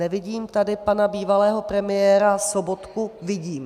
Nevidím tady pana bývalého premiéra Sobotku... vidím.